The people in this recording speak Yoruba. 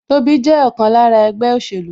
Tobi jẹ́ ọ̀kan lára ẹgbẹ́ òṣèlú